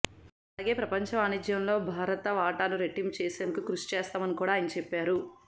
అలాగే ప్రపంచ వాణిజ్యంలో భార త వాటాను రెట్టింపు చేసేందుకు కృషి చేస్తున్నామని కూడా ఆయన చెప్పారు